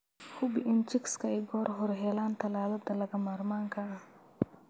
Hubi in chicks ay goor hore helaan tallaallada lagama maarmaanka ah.